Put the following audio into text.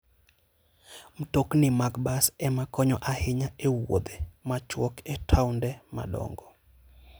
Mtokni mag bas ema konyo ahinya e wuodhe machuok e taonde madongo.